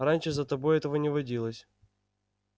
раньше за тобой этого не водилось